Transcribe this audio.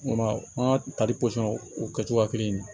an ka tali o kɛ cogoya kelen na